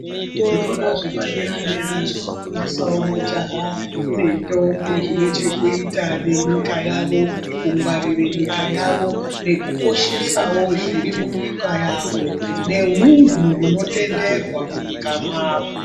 Zvikora zvepadera dera zvinofundisawo majaha nendombi zvinechokuita nenyika yavo kungwarire nyika yavo nekukoshesawo zviri munyika yavo nehunhu hunotenderwa munyika mwavo.